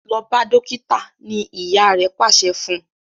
lọ bá dókítà! ní ìyá rè pàṣẹ fún.